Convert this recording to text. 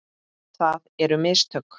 Það eru mistök.